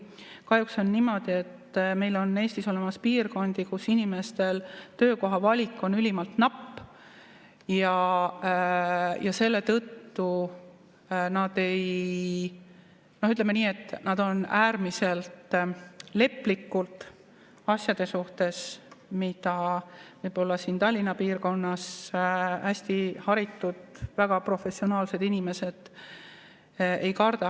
Kahjuks on niimoodi, et meil on Eestis olemas piirkondi, kus inimestel töökoha valik on ülimalt napp ja selle tõttu nad on, ütleme nii, äärmiselt leplikud asjade suhtes, mida võib-olla siin Tallinna piirkonnas hästi haritud ja väga professionaalsed inimesed ei karda.